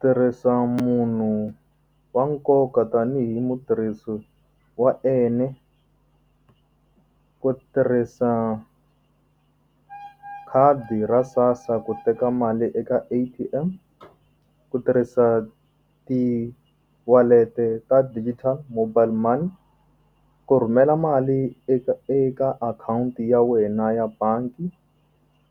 Tirhisa munhu wa nkoka tanihi mutirhisi wa ku tirhisa khadi ra SASSA ku teka mali eka A_T_M ku tirhisa tiwalete ta digital mobile money ku rhumela mali eka eka akhawunti ya wena ya bangi